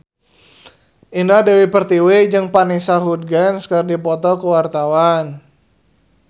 Indah Dewi Pertiwi jeung Vanessa Hudgens keur dipoto ku wartawan